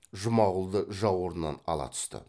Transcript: жұмағұлды жауырыннан ала түсті